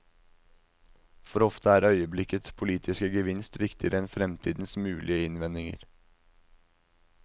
For ofte er øyeblikkets politiske gevinst viktigere enn fremtidens mulige innvendinger.